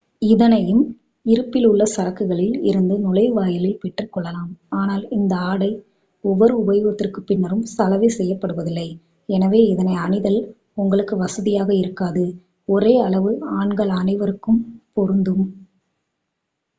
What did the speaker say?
இதனையும் இருப்பில் உள்ள சரக்குகளில் இருந்து நுழைவாயிலில் பெற்றுக் கொள்ளலாம் ஆனால் இந்த ஆடை ஒவ்வொரு உபயோகத்திற்குப் பின்னரும் சலவை செய்யப்படுவதில்லை எனவே இதனை அணிதல் உங்களுக்கு வசதியாக இருக்காது ஒரே அளவு ஆண்கள் அனைவருக்கும் பொருந்தும்